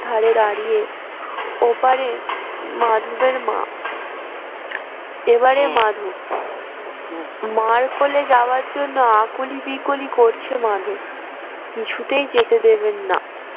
ধারে দাঁড়িয়ে ওপারে মাধবের মা এবারে মাধব মার কোলে যাওয়ার জন্যে আকুলি বিকুলি করছে মাধব কিছুতেই যেতে দেবেন না